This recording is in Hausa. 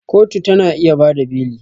Kotu ta na iya ba da beli